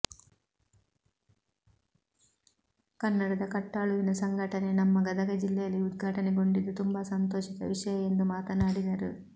ಕನ್ನಡದ ಕಟ್ಟಾಳುವಿನ ಸಂಘಟನೆ ನಮ್ಮ ಗದಗ ಜಿಲ್ಲೆಯಲ್ಲಿ ಉದ್ಘಾಟನೆ ಗೊಂಡಿದ್ದು ತುಂಬಾ ಸಂತೋಷದ ವಿಷಯ ಎಂದು ಮಾತನಾಡಿದರು